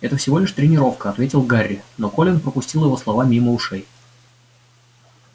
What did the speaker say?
это всего лишь тренировка ответил гарри но колин пропустил его слова мимо ушей